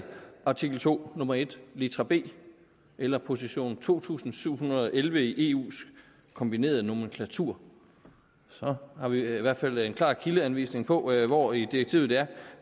artikel to nummer en litra b eller position to tusind syv hundrede og elleve i eus kombinerede nomenklatur så har vi i hvert fald en klar kildeanvisning på hvor i direktivet det er